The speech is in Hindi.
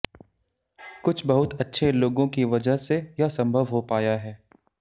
कुछ बहुत अच्छे लोगों की वजह से यह संभव हो पाया है